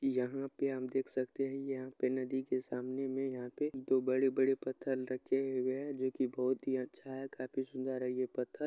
यहाँ पे हम देख सकते हैं यहाँ पे नदी के सामने में यहाँ पे दो बड़े-बड़े पथर रखे हुए हैं जो की बहुत अच्छा है काफी सुंदर है ये पथर।